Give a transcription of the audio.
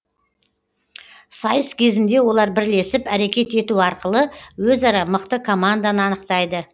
сайыс кезінде олар бірлесіп әрекет ету арқылы өзара мықты команданы анықтайды